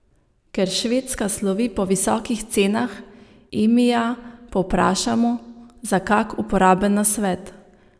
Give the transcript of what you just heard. Ker Švedska slovi po visokih cenah, Emija povprašamo za kak uporaben nasvet.